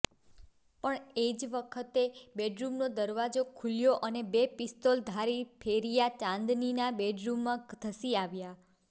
પણ એ જ વખતે બેડરૂમનો દરવાજો ખૂલ્યો અને બે પિસ્તોલધારી ફેરિયા ચાંદનીના બેડરૂમમાં ધસી આવ્યા